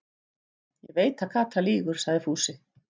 Ég veit að Kata lýgur, sagði Fúsi.